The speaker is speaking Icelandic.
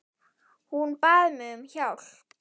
Hún bað mig um hjálp.